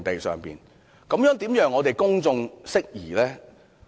這樣怎能夠令公眾釋疑呢？